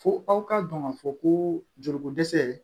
Fo aw ka dɔn ka fɔ ko joli ko dɛsɛ